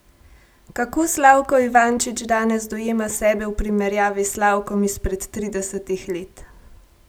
Kako Slavko Ivančić danes dojema sebe v primerjavi s Slavkom izpred tridesetih let?